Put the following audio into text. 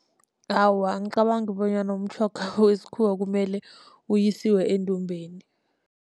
Awa, angicabangi bonyana umtjhoga wesikhuwa kumele uyisiwe endumbeni.